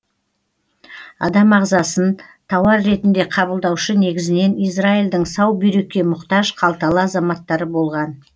адам ағзасын тауар ретінде қабылдаушы негізінен израильдің сау бүйрекке мұқтаж қалталы азаматтары болған